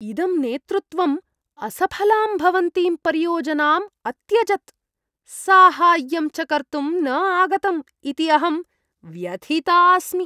इदं नेतृत्वम् असफलां भवन्तीं परियोजनां अत्यजत्, साहाय्यं च कर्तुं न आगतम् इति अहं व्यथिता अस्मि।